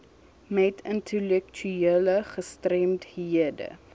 met intellektuele gestremdhede